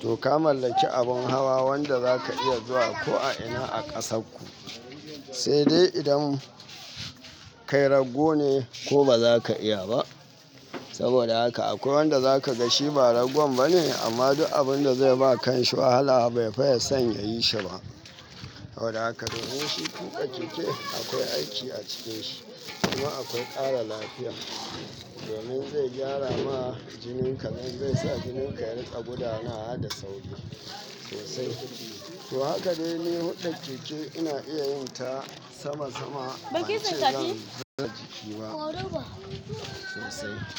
to ka mallaki abun hawa wanda zaka iya zuwa ko a ina a kasar ku. Sai dai idan kai rago ne, ko ba za ka iya ba. Saboda haka akwai wanda za ka ga shi ba ragon bane amma duk abun da zai ba kanshi wahala bai fiye son ya yi shi ba. Saboda haka domin shi tuƙa keke akwai aiki a cikinshi kuma akwai ƙara lafiya. Domin zai gyara ma jinin ka, domin zai sa jinin ka ya riƙa gudana da sauri sosai. To haka dai ni hulɗar keke ina iya yin ta sama sama, bance zan hada jiki ba sosai.